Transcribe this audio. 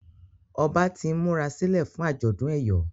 Ọba t'in murasilẹ fún ajọdun eyọ